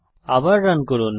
আবার রান করুন